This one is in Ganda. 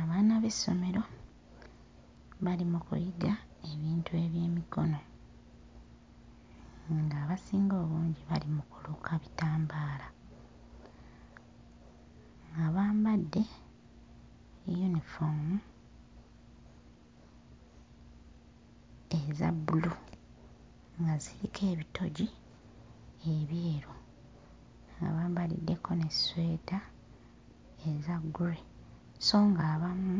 Abaana b'essomero bali mu kuyiga ebintu eby'emikono ng'abasinga obungi bali mu kuluka bitambaala, nga bambadde yunifoomu eza bbulu nga ziriko ebitogi ebyeru nga bambaliddeko n'esweta eza grey sso ng'abamu